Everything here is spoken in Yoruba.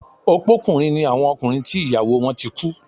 Opókùnrin ni àwọn ọkùnrin tí ìyàwó wọ́n ti kú